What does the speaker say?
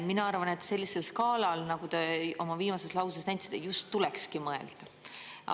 Mina arvan, et sellisel skaalal, nagu te oma viimases lauses väitsite, just tulekski mõelda.